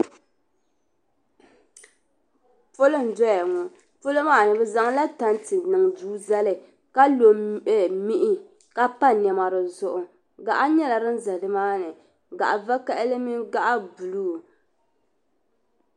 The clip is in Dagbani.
polo n doya ŋɔ polo maa ni bɛ zaŋla tante n niŋ duu zali ka lo mihi ka pa nema di zuɣu gaɣa nyɛla din za ni maa ni gaɣ' vakahili mini gaɣ' buluu